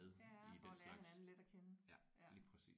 Ja for at lære hinanden lidt at kende ja